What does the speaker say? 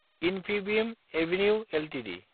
Infibeam avenues Ltd